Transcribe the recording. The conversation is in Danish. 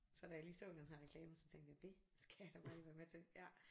Så da jeg lige så den her reklame så tænkte jeg det skal jeg da bare lige være med til ja